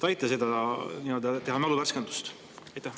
Aita teha mäluvärskendust!